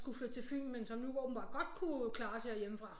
Skulle flytte til Fyn men så åbentbart godt kunne klares herhjemmefra